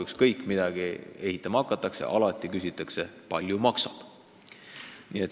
Ükskõik, mida ehitama hakatakse, alati küsitakse, palju maksab.